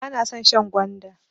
Bana son shan gwanda.